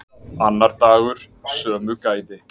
Annar dagur, sömu gæði.